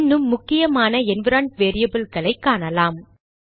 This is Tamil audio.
இன்னும் முக்கியமான என்விரான்மென்ட் வேரியபில்களை காணலாம்